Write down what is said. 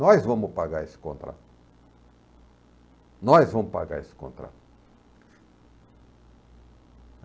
Nós vamos pagar esse contrato, nós vamos pagar esse contrato.